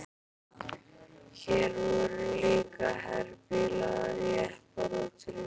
Hér voru líka herbílar, jeppar og trukkar.